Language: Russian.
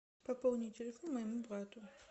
пополни телефон моему брату